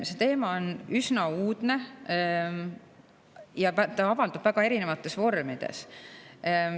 See teema on üsna uudne ja avaldub väga erinevates vormides.